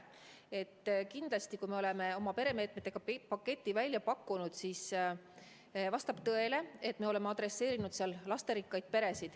Vastab tõele, et me oleme oma peremeetmete paketis välja pakkunud meetmeid, mis on adresseeritud lasterikastele peredele.